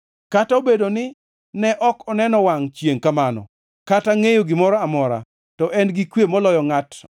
Kata obedo ni ne ok oneno wangʼ chiengʼ kamano, kata ngʼeyo gimoro amora, to en gi kwe moloyo ngʼat